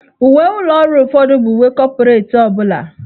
Uwe ụlọ ọrụ ụfọdụ bụ uwe kọpretị ọ bụla.